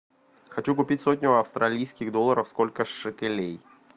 хочу купить сотню австралийских долларов сколько шекелей